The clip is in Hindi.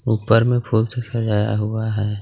ऊपर में फूल से सजाया हुआ है.